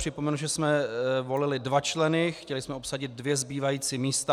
Připomenu, že jsme volili dva členy, chtěli jsme obsadit dvě zbývající místa.